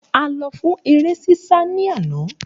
A lọ fún eré sísá ní àná